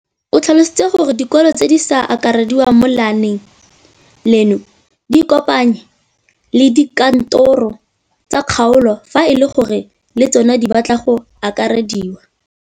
O tlhalositse gore dikolo tse di sa akarediwang mo lenaaneng leno di ikopanye le dikantoro tsa kgaolo fa e le gore le tsona di batla go akarediwa.